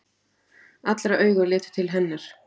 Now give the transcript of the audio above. Allra augu litu til hennar.